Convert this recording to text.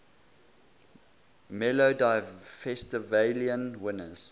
melodifestivalen winners